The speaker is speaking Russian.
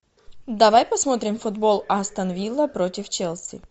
давай посмотрим футбол астон вилла против челси